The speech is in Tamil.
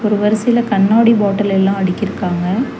ஒரு வரிசையில கண்ணாடி பாட்டில் எல்லா அடுக்கிருக்காங்க.